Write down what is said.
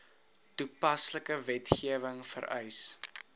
toepaslike wetgewing vereis